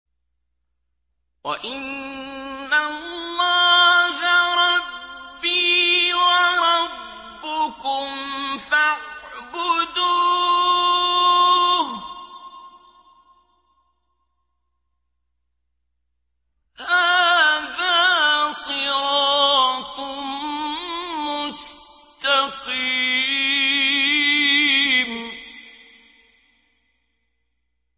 وَإِنَّ اللَّهَ رَبِّي وَرَبُّكُمْ فَاعْبُدُوهُ ۚ هَٰذَا صِرَاطٌ مُّسْتَقِيمٌ